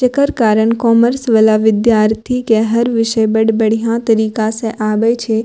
जकड़ कारण कॉमर्स वाला विद्यार्थी के हर विषय बढ़ बढ़िया तरीका से आवे छै।